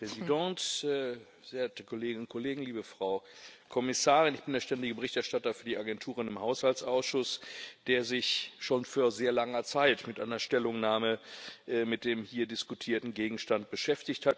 Frau Präsidentin, verehrte Kolleginnen und Kollegen, liebe Frau Kommissarin! Ich bin der ständige Berichterstatter für die Agenturen im Haushaltsausschuss, der sich schon vor sehr langer Zeit mit einer Stellungnahme mit dem hier diskutierten Gegenstand beschäftigt hat.